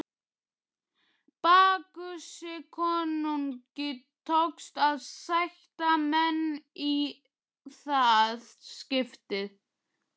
Bakkusi konungi tókst að sætta menn í það skiptið.